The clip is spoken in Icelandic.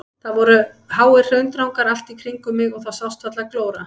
Það voru háir hraundrangar allt í kringum mig og það sást varla glóra.